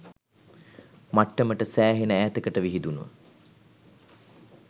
මට්ටමට සෑහෙන ඈතකට විහිදුණ